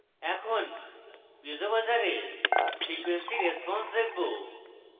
এখন piezo buzzer এর frequency response দেখবো